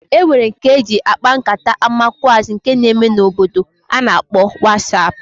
E nwere nke e ji akpa nkata amakwụazị nke na-eme n'obodo a na-akpọ wasap.